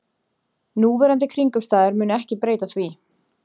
Núverandi kringumstæður munu ekki breyta því